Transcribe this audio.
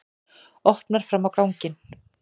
Opnar fram á ganginn.